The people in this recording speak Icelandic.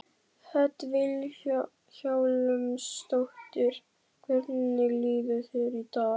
Hödd Vilhjálmsdóttir: Hvernig líður þér í dag?